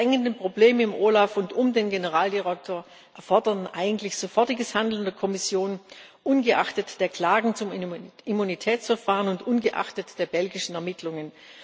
Die drängenden Probleme im OLAF und um den Generaldirektor erfordern eigentlich sofortiges Handeln der Kommission, ungeachtet der Klagen zum Immunitätsverfahren und ungeachtet der belgischen Ermittlungen.